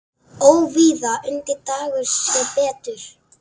Óvíða undi Dagur sér betur.